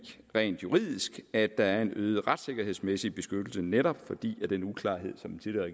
rent juridisk at der er en øget retssikkerhedsmæssig beskyttelse netop fordi den uklarhed som den tidligere